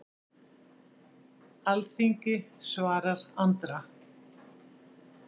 Alþingi svarar Andra